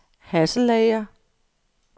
Hasselager